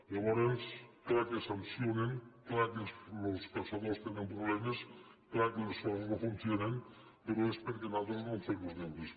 llavors clar que sancionen clar que els caçadors tenen problemes clar que les coses no funcionen però és perquè nosaltres no hem fet els deures